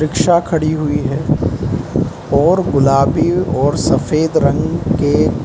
rickshaw खड़ी हुई है और गुलाबी और सफेद रंग के --